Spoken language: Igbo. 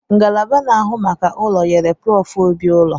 Ngalaba na-ahụ maka ụlọ nyere Prof Obi ụlọ